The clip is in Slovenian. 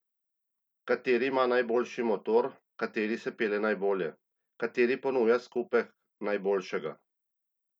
Kateri ima najboljši motor, kateri se pelje najbolje, kateri ponuja skupek najboljšega?